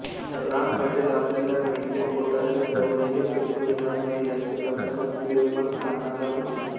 राम पाटील आपल्याला मेढेकोटाच्या जवळही फिरकू देणार नाही याची कल्पना पिरमरखानाला होती